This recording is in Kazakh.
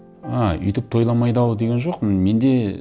а өйтіп тойламайды ау деген жоқпын менде